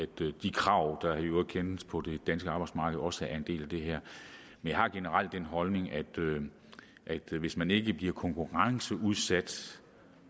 de krav der i øvrigt kendes på det danske arbejdsmarked også er en del af det her men jeg har generelt den holdning at hvis man ikke bliver konkurrenceudsat